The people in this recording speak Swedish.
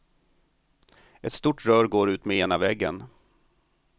Ett stort rör går utmed ena väggen.